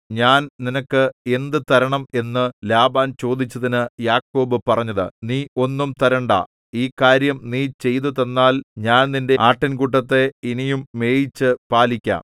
ഞാൻ നിനക്ക് എന്ത് തരണം എന്ന് ലാബാൻ ചോദിച്ചതിന് യാക്കോബ് പറഞ്ഞത് നീ ഒന്നും തരണ്ടാ ഈ കാര്യം നീ ചെയ്തുതന്നാൽ ഞാൻ നിന്റെ ആട്ടിൻകൂട്ടത്തെ ഇനിയും മേയിച്ചു പാലിക്കാം